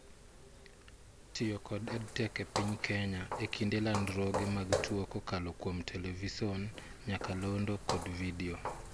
Tiyo kod EdTech e piny Kenya ekinde landruoge mag tuo kokalo kuom Television, nyakalondo kod video